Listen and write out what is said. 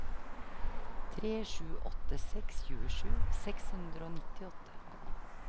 tre sju åtte seks tjuesju seks hundre og nittiåtte